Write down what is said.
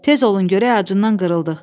Tez olun görək, acından qırıldıq.